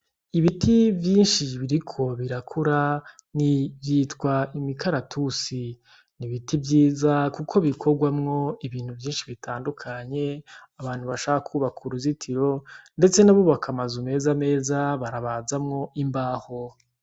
Ibiti vyinshi biriko birakura nivyitwa imikaratusi ni vyiza kuko bikogwamwa ibintu vyinshi bitandukanye, abantu barashobora kwubaka uruzitiro ndetse n' amazu meza meza barabazamwo imbaho.